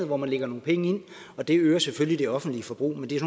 hvor man lægger nogle penge ind og det øger selvfølgelig det offentlige forbrug men det er